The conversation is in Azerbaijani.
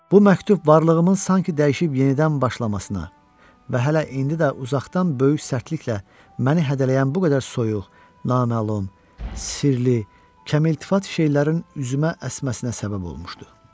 Bu məktub varlığımın sanki dəyişib yenidən başlamasına və hələ indi də uzaqdan böyük sərtliklə məni hədələyən bu qədər soyuq, naməlum, sirli, kəmiltifat şeylərin üzümə əsməsinə səbəb olmuşdu.